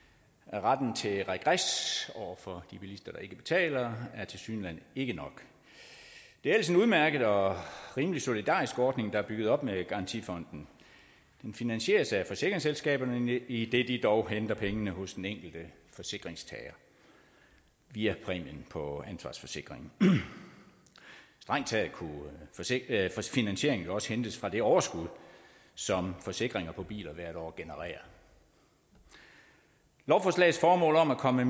retten til regres over for de bilister der ikke betaler er tilsyneladende ikke nok det er ellers en udmærket og rimelig solidarisk ordning der er bygget op med garantifonden den finansieres af forsikringsselskaberne idet de dog henter pengene hos den enkelte forsikringstager via præmien på ansvarsforsikringen strengt taget kunne finansieringen jo også hentes fra det overskud som forsikringer på biler hvert år genererer lovforslagets formål om at komme